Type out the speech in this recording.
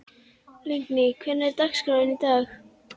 Lingný, hvernig er dagskráin í dag?